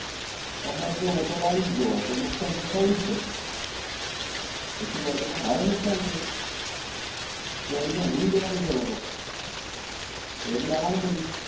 કમોસમ કેરી આવવા ની નથી જો વરસાદ આવી ગયો તો નુકસાન તો થયું જ છે વ ખેતીવાડી માં ભારે નુકસાન છે કેરી તો ઉલારી જવા ની છે હવે તો કેરી તો આવવા ની નથી